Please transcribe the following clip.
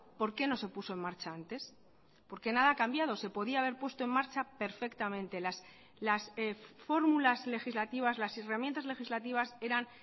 por qué no se puso en marcha antes porque nada ha cambiado se podía haber puesto en marcha perfectamente las fórmulas legislativas las herramientas legislativas eran